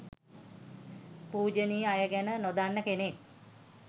පූජනීය අය ගැන නොදන්න කෙනෙක්